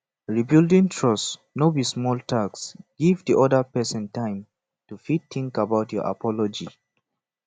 rebuilding trust no be small task give di oda person time to fit think about your apology